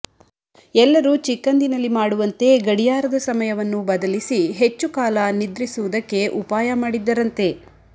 ಎಲ್ಲರೂ ಚಿಕ್ಕಂದಿನಲ್ಲಿ ಮಾಡುವಂತೆ ಗಡಿಯಾರದ ಸಮಯವನ್ನು ಬದಲಿಸಿ ಹೆಚ್ಚು ಕಾಲ ನಿದ್ರಿಸುವುದಕ್ಕೆ ಉಪಾಯ ಮಾಡಿದ್ದರಂತೆ